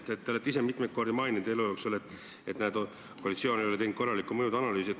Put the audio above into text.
Te olete ise mitu korda elu jooksul maininud, et näe, koalitsioon ei ole teinud korralikku mõjude analüüsi.